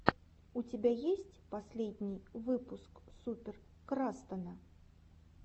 у тебя есть последний выпуск супер крастана